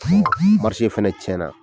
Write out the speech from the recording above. fɛnɛ cɛn na.